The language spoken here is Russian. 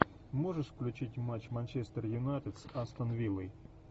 можешь включить матч манчестер юнайтед с астон виллой